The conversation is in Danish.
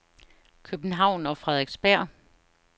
København og Frederiksberg